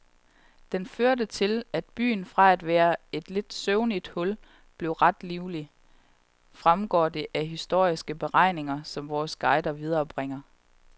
Den førte til, at byen fra at være et lidt søvning hul blev ret livlig, fremgår det af historiske beretninger, som vores guide viderebringer.